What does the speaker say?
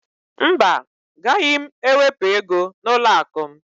Mba, gaghị m ewepụ ego n'ụlọakụ m